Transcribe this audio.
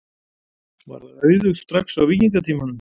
Var það auðugt strax á víkingatímanum?